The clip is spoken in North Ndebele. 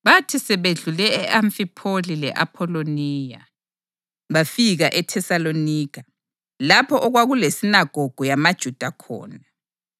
Bathi sebedlule e-Amfipholi le-Apholoniya, bafika eThesalonika lapho okwakulesinagogu yamaJuda khona.